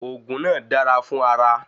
Òògùn náà dara fun ara